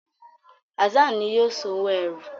Hassan ní yíò sàn owo ẹ́rù.